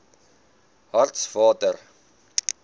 hartswater